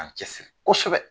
A cɛsiri kosɛbɛ.